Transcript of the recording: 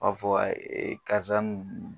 b'a fɔ e karisa nu.